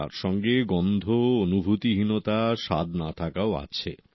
তার সঙ্গে গন্ধ অনুভূতি হীনতা স্বাদ না থাকাও আছে